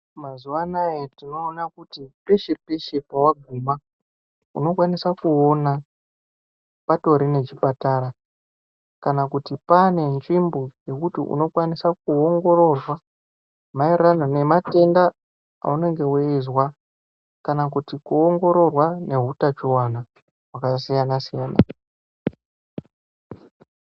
Mazuwanaya tinoona kuti peshe peshe pawaguma unokwanisa kutoona patori necbhupatara kana kuti pane nzvimbo yekuti unokwanisa kuwongororwa mayererano nematenda awunenge weizwa kana kuti kuwongororwa nehutachiwana hwakasiyana.